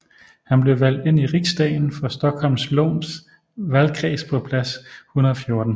Han blev valgt ind i riksdagen for Stockholms läns valgkreds på plads 114